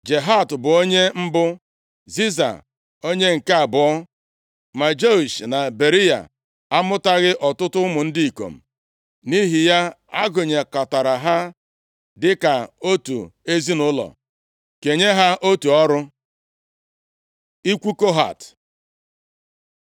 Jahat bụ onye mbụ, Ziza onye nke abụọ. Ma Jeush na Beriya amụtaghị ọtụtụ ụmụ ndị ikom. Nʼihi ya, a gụnyekọtara ha dịka otu ezinaụlọ, kenye ha otu ọrụ. Ikwu Kohat